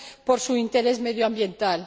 por su interés medioambiental.